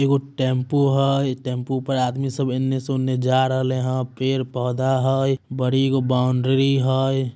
एगो टेंपू हय । टेंपू पर आदमी सब इनने-उनने जे रहले होय पेड़-पौधा होय बड़ी बॉउनडरी हय ।